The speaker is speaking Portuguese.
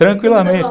Tranquilamente.